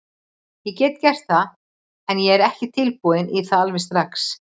Ég get gert það, en ég er ekki tilbúinn í það alveg strax.